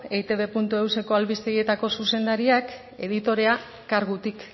eitbeus eko albistegietako zuzendariak editorea kargutik